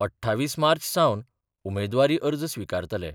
अठ्ठावीस मार्च सावन उमेदवारी अर्ज स्विकारतले.